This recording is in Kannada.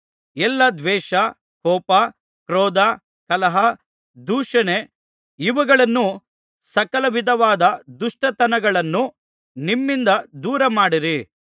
ಎಲ್ಲಾ ದ್ವೇಷ ಕೋಪ ಕ್ರೋಧ ಕಲಹ ದೂಷಣೆ ಇವುಗಳನ್ನೂ ಸಕಲ ವಿಧವಾದ ದುಷ್ಟತನಗಳನ್ನೂ ನಿಮ್ಮಿಂದ ದೂರ ಮಾಡಿರಿ